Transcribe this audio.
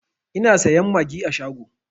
Ina sayan magi a shago